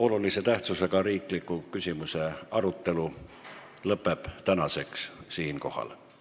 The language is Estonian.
Olulise tähtsusega riikliku küsimuse arutelu tänaseks siinkohal lõpeb.